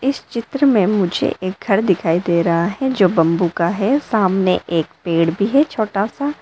इस चित्र में मुझे एक घर दिखाई दे रहा है जो बंबू का है सामने एक पेड़ भी है छोटा सा।